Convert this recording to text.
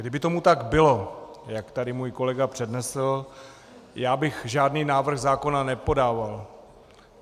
Kdyby tomu tak bylo, jak tady můj kolega přednesl, já bych žádný návrh zákona nepodával.